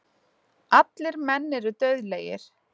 Allir menn eru dauðlegir.